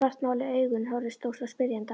Svartmáluð augun horfðu stór og spyrjandi á mig.